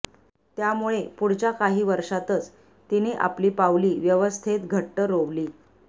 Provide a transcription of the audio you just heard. त्यामुळे पुढच्या काही वर्षातच तिने आपली पावली व्यवस्थेत घट्ट रोवली